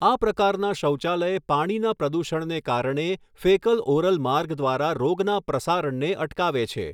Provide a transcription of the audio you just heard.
આ પ્રકારના શૌચાલય પાણીના પ્રદૂષણને કારણે ફેકલ ઓરલ માર્ગ દ્વારા રોગના પ્રસારણને અટકાવે છે.